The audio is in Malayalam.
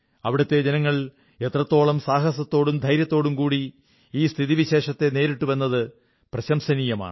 അവിടത്തെ ജനങ്ങൾ എത്രത്തോളം സാഹസത്തോടും ധൈര്യത്തോടും കൂടെ സ്ഥിതിവിശേഷത്തെ നേരിട്ടുവെന്നത് പ്രശംസനീയമാണ്